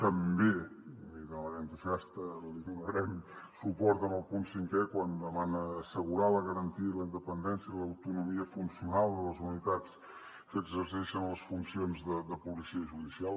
també i de manera entusiasta li donarem suport en el punt cinquè quan demana assegurar la garantia la independència i l’autonomia funcional de les unitats que exerceixen les funcions de policia judicial